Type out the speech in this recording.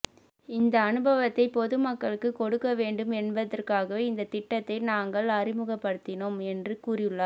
இந்த அனுபவத்தை பொதுமக்களுக்கு கொடுக்க வேண்டும் என்பதற்காகவே இந்த திட்டத்தை நாங்கள் அறிமுகப்படுத்தினோம் என்று கூறியுள்ளார்